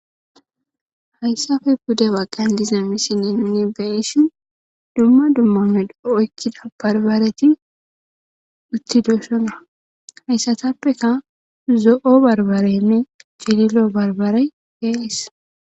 hayssafe bude baggan diza misinene beeshi dumma dummame dooeckida barbareti uttiduusona hayssatappeka zo7o barbareynne gililo barbarey beeis